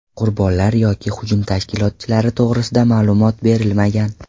Qurbonlar yoki hujum tashkilotchilari to‘g‘risida ma’lumot berilmagan.